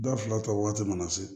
Da fila ta waati mana se